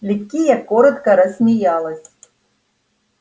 ликия коротко рассмеялась